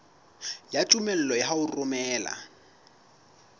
ya tumello ya ho romela